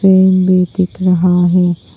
Fan भी दिख रहा है।